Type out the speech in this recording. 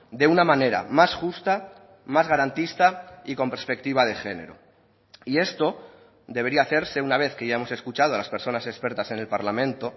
de una manera más justa más garantista y con perspectiva de género y esto debería hacerse una vez que ya hemos escuchado a las personas expertas en el parlamento